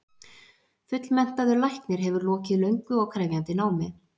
Fullmenntaður læknir hefur lokið löngu og krefjandi námi.